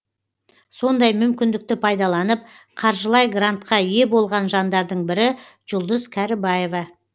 сондай мүмкіндікті пайдаланып қаржылай грантка ие болған жандардың бірі жұлдыз кәрібаева